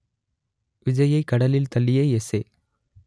விஜய்யை கடலில் தள்ளிய எஸ்ஏ